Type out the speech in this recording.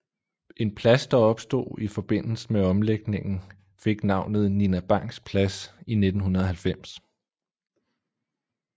En plads der opstod i forbindelsen med omlægningen fik navnet Nina Bangs Plads i 1990